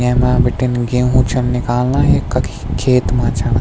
येमा बिटिन गेहूं छन निकालना ये कखी खेत मा छा।